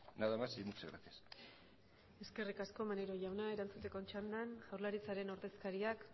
nada más y muchas gracias eskerrik asko maneiro jauna erantzuteko txandan jaurlaritzaren ordezkariak